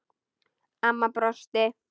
Amma brosti.